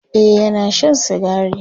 e Yana Shan sigari